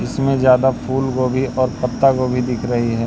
इसमें ज्यादा फूलगोभी और पत्तागोभी दिख रही है।